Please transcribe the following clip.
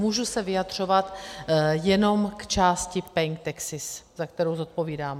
Můžu se vyjadřovat jenom k části paying taxes, za kterou zodpovídám.